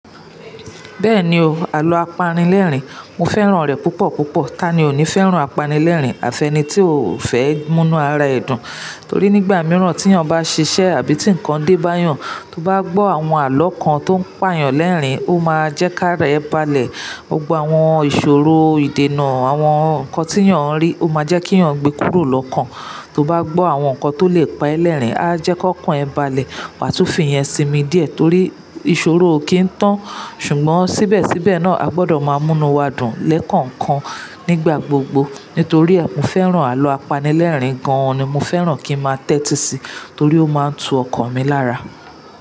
Bẹ́ẹ̀ni o, àlọ́ apanílẹ̀rìn, mo fẹ́ràn rẹ̀ púpọ̀ púpọ̀. Tani ò ní fẹ́ràn apanílẹ̀rìn? Àfẹ́nì tí ò fẹ́ múnú ara ẹ̀ dùn, torí nígbà mìíràn tí ènìyàn bá ṣiṣẹ́ àbí tí ǹkan dé bá yàn, tó bá gbọ́ àwọn àlọ́ kan tó ń pààyàn lẹ́rìn-ín, ó máa jẹ́ kí ara ẹ balẹ̀. Ògbogbo àwọn ìṣòro, ìdènà àwọn ǹkan tí ènìyàn ń rí, ó máa jẹ́ kí ènìyàn gbe kúrò lọ́kàn. Tó bá gbọ́ àwọn nǹkan tó lè pa ẹ́ lẹ́rìn-ín, á jẹ́ kó kún ẹ balẹ̀. Wà túfi yẹn sí mi díẹ̀ torí ìṣòro kì í tán, ṣùgbọ́n síbẹ̀síbẹ̀ náà a gbọdọ̀ máa múnu wa dùn lẹ́ẹ̀kon kon nígbà gbogbo. Nítorí ẹ, mo fẹ́ràn àlọ́ apanílẹ̀rìn gan-an ni mo fẹ́ràn kí ń máa tẹ́tí sí, torí ó máa ń tu ọkàn mi lára.